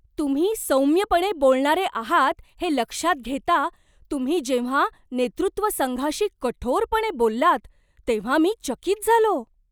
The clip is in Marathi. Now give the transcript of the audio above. तुम्ही सौम्यपणे बोलणारे आहात हे लक्षात घेता, तुम्ही जेव्हा नेतृत्व संघाशी कठोरपणे बोललात तेव्हा मी चकित झालो.